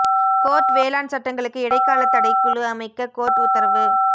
court வேளாண் சட்டங்களுக்கு இடைக்கால தடை குழு அமைக்க கோர்ட் உத்தரவு